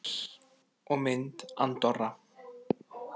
Heimildir og mynd Andorra.